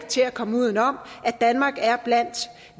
til at komme udenom at danmark er blandt